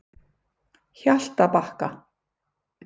Hjaltabakka